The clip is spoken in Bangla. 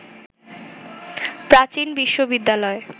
প্রাচীন বিশ্ববিদ্যালয়